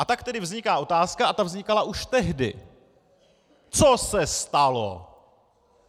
A tak tedy vzniká otázka, a ta vznikala už tehdy - co se stalo?